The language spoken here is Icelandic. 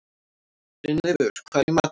Brynleifur, hvað er í matinn?